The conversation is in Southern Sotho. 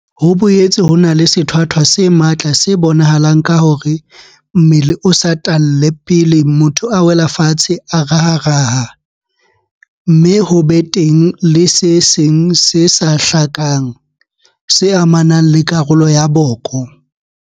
Ho boetse ho na le sethwathwa se matla se bonahalang ka hore mmele o satalle pele motho a wela fatshe a raharaha, mme ho be teng le se seng se sa hlakang, se amang karolo ya boko.